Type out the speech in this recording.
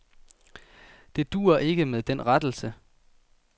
Det duer ikke med den rettelse.